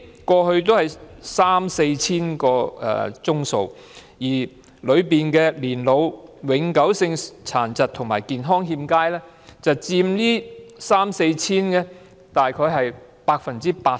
過去的數字為三四千宗，當中年老、永久性殘疾及健康欠佳人士佔大約 80%。